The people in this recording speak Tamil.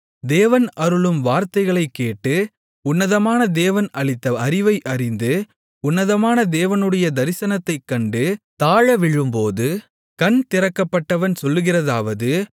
தேவன் அருளும் வார்த்தைகளைக் கேட்டு உன்னதமான தேவன் அளித்த அறிவை அறிந்து உன்னதமான தேவனுடைய தரிசனத்தைக் கண்டு தாழவிழும்போது கண் திறக்கப்பட்டவன் சொல்லுகிறதாவது